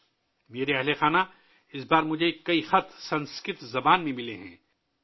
میرے پریوار جنوں ، اس بار مجھے سنسکرت زبان میں بہت سے خطوط موصول ہوئے ہیں